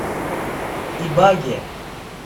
ибаге